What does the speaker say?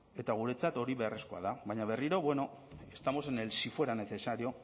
eta guretzat hori beharrezkoa da baina berriro bueno estamos en el si fuera necesario